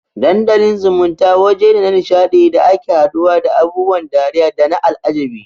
Dandalin zumunta wajene na nisha ɗi da ake haduwa da abubuwan dariya dana al'ajabi